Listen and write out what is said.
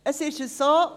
Es ist so: